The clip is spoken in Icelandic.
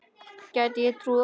Gæti ég trúað.